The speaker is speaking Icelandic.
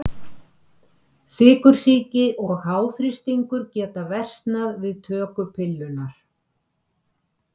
Sykursýki og háþrýstingur geta versnað við töku pillunnar.